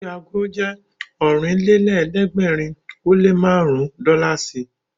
Iye ago jẹ́ Ọ̀rìnlélẹ̀ẹ́dẹ́gbèrin ó lé márùn-ún dọ́làsì